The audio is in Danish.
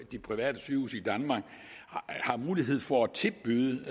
de private sygehuse i danmark har mulighed for at tilbyde